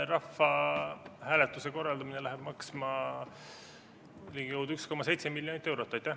Rahvahääletuse korraldamine läheb maksma ligikaudu 1,7 miljonit eurot.